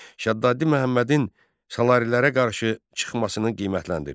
Şəddaddi Məhəmmədin Salarilərə qarşı çıxmasını qiymətləndirir.